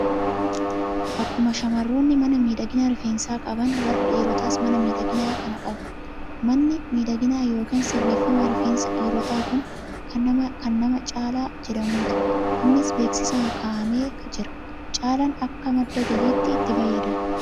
Akkuma shamarroonni mana miidhagina rifeensaa qaban, warri dhiirotaas mana miidhaginaa kana ni qabu. Manni miidhaginaa yookiin sirreeffama rifeensa dhiirotaa kun kan nama Caalaa jedhamuuti. Innis beeksisaan kaa'amee jira. Caalaan akka madda galiitti itti fayyadama.